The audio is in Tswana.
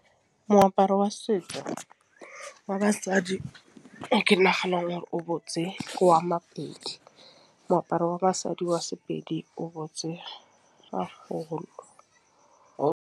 Moaparo wa setso wa basadi e ke naganang gore o botse ke wa Mapedi moaparo wa basadi wa Sepedi o botse .